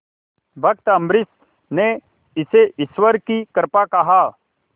भक्त अम्बरीश ने इसे ईश्वर की कृपा कहा